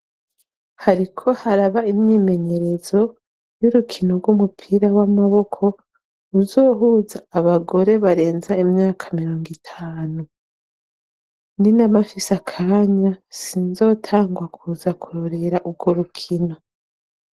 Hariko haraba imyimenyerezo y'urukino rw'umupira w'amaboko uzohuza abagore barenza imyaka mirongo itanu ni n'amafise akanya sinzotangwa kuza kurorera urwo rukino.